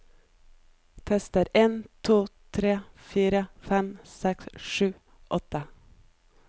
Tester en to tre fire fem seks sju åtte